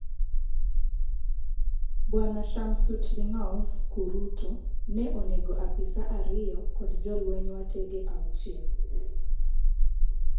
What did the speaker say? Bwana Shamsutdinov ,kurutu, ne onego apisa ariyo kod jolweny wetege auchiel.